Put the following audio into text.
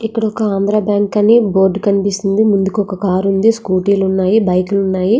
ఇక్కడ ఒక ఆంధ్ర బ్యాంకు అని బోర్డు కనిపిస్తుంది ముందుకు ఒక కారు ఉంది స్కూటీ లు ఉన్నాయి బైకు లు ఉన్నాయి.